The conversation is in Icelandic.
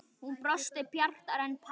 Hún brosti bjartar en Pamela.